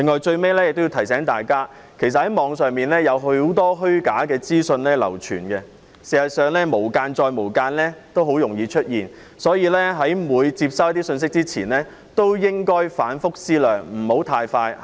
最後，我亦要提醒大家，網上有很多虛假資訊流傳，事實上，"無間"再"無間"也很容易出現，所以，每次接收信息前也要反覆思量，不要太快下判斷。